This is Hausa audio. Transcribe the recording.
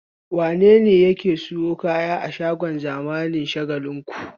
Wane ne yake sayan kaya a shagon zamani na Shagalinku?